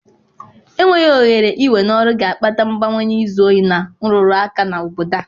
Enweghị ohere i we n'ọrụ ga-akpata mbawanye izi ohi na nrụrụ aka na obodo a.